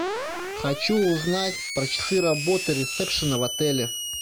хочу узнать про часы работы ресепшена в отеле